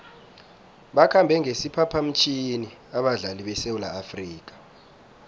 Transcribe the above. bakhambe ngesiphaphamtjhini abadlali besewula afrika